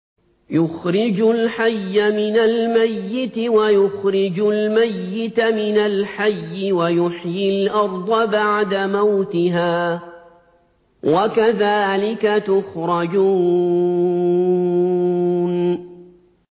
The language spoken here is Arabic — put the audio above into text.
يُخْرِجُ الْحَيَّ مِنَ الْمَيِّتِ وَيُخْرِجُ الْمَيِّتَ مِنَ الْحَيِّ وَيُحْيِي الْأَرْضَ بَعْدَ مَوْتِهَا ۚ وَكَذَٰلِكَ تُخْرَجُونَ